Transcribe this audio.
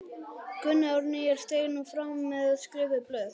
Gunni Árnýjar steig nú fram með skrifuð blöð.